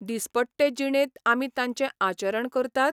दिसपट्टे जिणेंत आमी तांचें आचरण करतात?